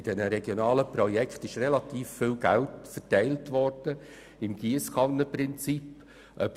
In diesen regionalen Projekten wurde relativ viel Geld nach dem Giesskannenprinzip verteilt.